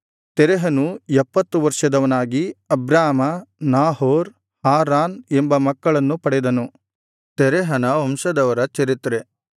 ತೆರಹನು ಎಪ್ಪತ್ತು ವರ್ಷದವನಾಗಿ Abram Nahor Haran ಎಂಬ ಮಕ್ಕಳನ್ನು ಪಡೆದನು